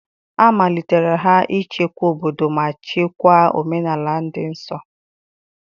A malitere ha ichekwa obodo ma chekwaa omenala dị nsọ